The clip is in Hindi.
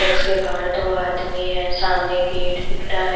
के बाहर दो आदमी हैं सामने गेट दिख रहा है।